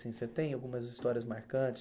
Assim você tem algumas histórias marcantes?